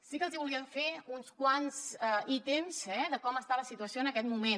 sí que els hi volia fer uns quants ítems de com està la situació en aquest moment